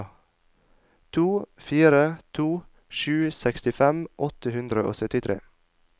to fire to sju sekstifem åtte hundre og syttitre